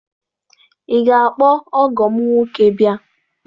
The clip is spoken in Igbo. Ị ga-akpọ ọgọ m nwoke bịa?